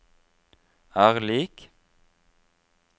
er lik